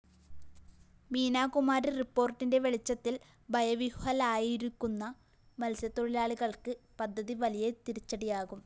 മീനാകുമാരി റിപ്പോര്‍ട്ടിന്റെ വെളിച്ചത്തില്‍ ഭയവിഹ്വലരായിരിക്കുന്ന മത്സ്യത്തൊഴിലാളികള്‍ക്ക് പദ്ധതി വലിയ തിരിച്ചടിയാകും